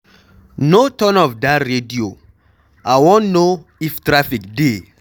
No turn off dat radio, I wan know if traffic dey